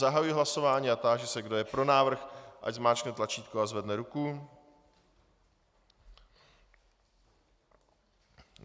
Zahajuji hlasování a táži se, kdo je pro návrh, ať zmáčkne tlačítko a zvedne ruku.